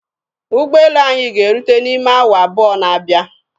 Ụgbọelu anyị ga-erute n'ime awa abụọ na-abịa.